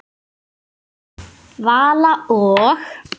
Vala og